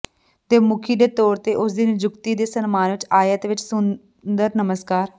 ਦੇ ਮੁਖੀ ਦੇ ਤੌਰ ਤੇ ਉਸ ਦੀ ਨਿਯੁਕਤੀ ਦੇ ਸਨਮਾਨ ਵਿਚ ਆਇਤ ਵਿਚ ਸੁੰਦਰ ਨਮਸਕਾਰ